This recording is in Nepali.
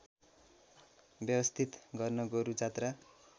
व्यवस्थित गर्न गोरुजात्रा